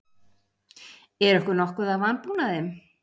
Er okkur nokkuð að vanbúnaði?